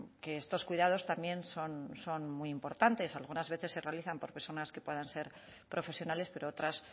que estos cuidados también son muy importantes algunas veces se realizan por personas que puedan ser profesionales pero otras